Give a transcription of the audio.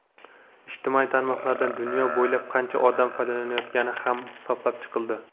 ijtimoiy tarmoqlardan dunyo bo‘ylab qancha odam foydalanayotgani ham hisoblab chiqildi.